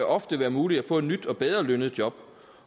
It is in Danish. ofte være muligt at få et nyt og bedre lønnet job